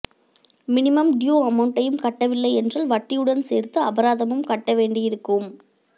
minimum due அமௌன்ட்டையும் கட்டவில்லை என்றால் வட்டியுடன் சேர்த்து அபராதமும் கட்ட வேண்டியிருக்கும்